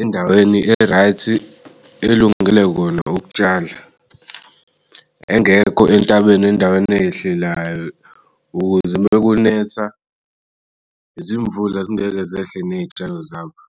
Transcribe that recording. endaweni e-right elungele kona ukutshala. Engekho entabeni endaweni eyehlelayo, ukuze mekunetha izimvula zingeke zehle ney'tshalo zabo.